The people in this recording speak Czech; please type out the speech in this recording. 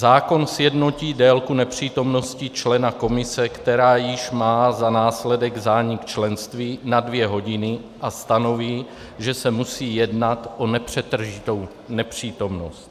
Zákon sjednotí délku nepřítomnosti člena komise, která již má za následek zánik členství, na dvě hodiny, a stanoví, že se musí jednat o nepřetržitou nepřítomnost.